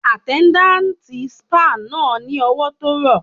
Àtẹ́ndátì spáà náà ni ọwọ tó rọ.